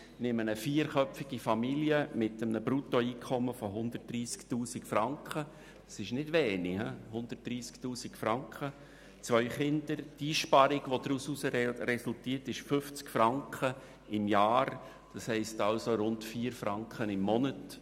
Bei einer vierköpfigen Familie mit zwei Kindern und einem Bruttoeinkommen von 130 000 Franken – und das ist nicht wenig – resultiert eine Einsparung 50 Franken pro Jahr, also rund 4 Franken pro Monat.